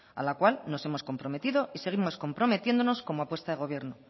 a la cual nos hemos comprometido y seguimos comprometiéndonos como apuesta de gobierno